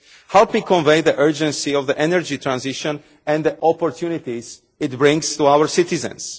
Help me convey the urgency of the energy transition, and the opportunities it brings to our citizens.